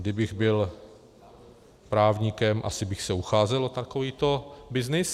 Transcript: Kdybych byl právníkem, asi bych se ucházel o takovýto byznys.